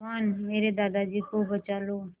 भगवान मेरे दादाजी को बचा लो